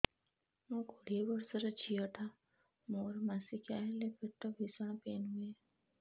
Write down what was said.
ମୁ କୋଡ଼ିଏ ବର୍ଷର ଝିଅ ଟା ମୋର ମାସିକିଆ ହେଲେ ପେଟ ଭୀଷଣ ପେନ ହୁଏ